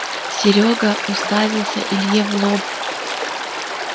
серёга уставился илье в лоб